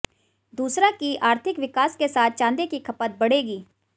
दूसरा कि आर्थिक विकास के साथ चांदी की खपत बढ़ेगी